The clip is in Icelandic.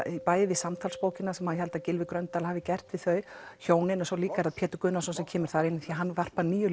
bæði samtalsbókina sem ég held að Gylfi Gröndal hafi gert við þau hjónin og svo líka er það Pétur Gunnarsson sem kemur þar inn því hann varpar nýju